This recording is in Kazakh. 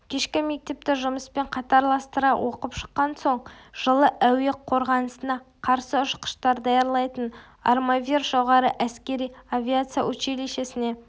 кешкі мектепті жұмыспен қатарластыра оқып шыққан соң жылы әуе қорғанысына қарсы ұшқыштар даярлайтын армавир жоғары әскери авиация училищесіне